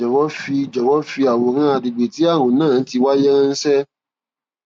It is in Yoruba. jọwọ fi jọwọ fi àwòrán àgbègbè tí ààrùn náà ti wáyé ránṣẹ